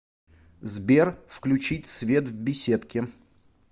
сбер включить свет в беседке